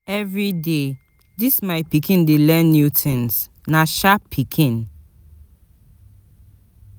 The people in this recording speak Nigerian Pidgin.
Everyday, dis my pikin dey learn new tins, na sharp pikin.